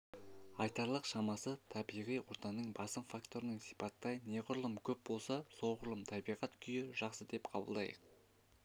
айталық шамасы табиғи ортаның басым факторын сипаттай неғұрлым көп болса соғұрлым табиғат күйі жақсы деп қабылдайық